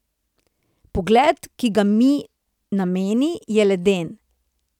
Pogled, ki ga mi nameni, je leden.